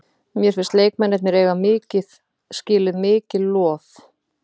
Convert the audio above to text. Mér finnst leikmennirnir eiga skilið mikið lof.